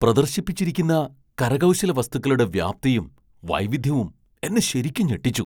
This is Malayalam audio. പ്രദർശിപ്പിച്ചിരിക്കുന്ന കരകൗശല വസ്തുക്കളുടെ വ്യാപ്തിയും, വൈവിധ്യവും എന്നെ ശരിക്കും ഞെട്ടിച്ചു.